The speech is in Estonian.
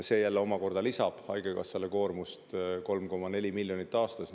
See omakorda lisab haigekassale koormust 3,4 miljonit eurot aastas.